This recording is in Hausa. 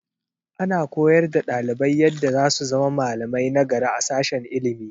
Ana koyar da ɗalibai yadda za su zama malamai nagari a sashen ilimi.